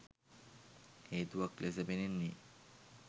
හේතුවක් ලෙස පෙනෙන්නේ